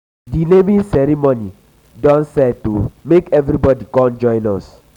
um di naming ceremony naming ceremony don um set o make everybodi com join um us.